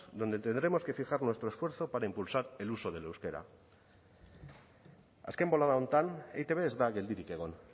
donde tendremos que fijar nuestro esfuerzo para impulsar el uso del euskera azken bolada honetan eitb ez da geldirik egon